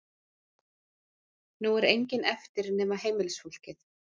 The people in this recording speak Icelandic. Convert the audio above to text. Nú er enginn eftir nema heimilisfólkið.